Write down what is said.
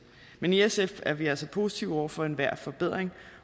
men i sf er vi altså positive over for enhver forbedring